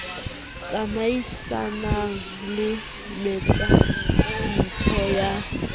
tsamaisanang le metantsho e sa